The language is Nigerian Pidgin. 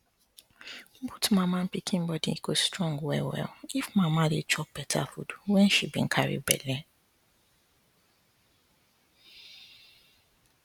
both mama and pikin body go strong well well if mama dey chop better food wen she been carry belle